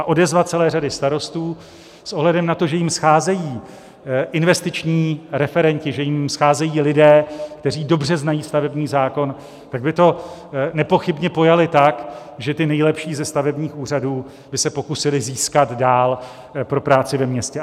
A odezva celé řady starostů s ohledem na to, že jim scházejí investiční referenti, že jim scházejí lidé, kteří dobře znají stavební zákon, tak by to nepochybně pojali tak, že ty nejlepší ze stavebních úřadů by se pokusili získat dál pro práci ve městě.